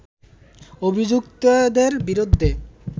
অভিযুক্তদের বিরুদ্ধে